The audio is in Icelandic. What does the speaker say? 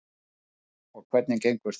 Arnar: Og hvernig gengur það?